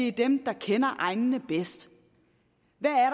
er dem der kender egnene bedst